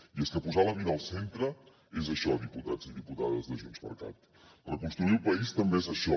i és que posar la vida al centre és això diputats i diputades de junts per cat reconstruir el país també és això